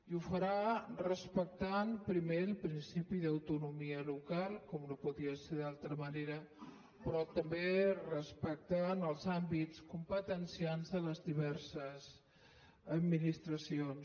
i ho farà respectant primer el principi d’autonomia local com no podria ser d’altra manera però també respectant els àmbits competencials de les diverses administracions